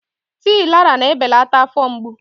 Tii Laraa na-ebelata afọ mgbu.